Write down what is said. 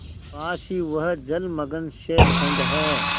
पास ही वह जलमग्न शैलखंड है